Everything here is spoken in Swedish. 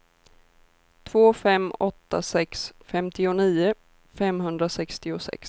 två fem åtta sex femtionio femhundrasextiosex